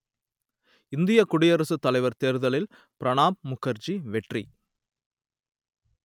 இந்தியக் குடியரசுத் தலைவர் தேர்தலில் பிரணாப் முகர்ஜி வெற்றி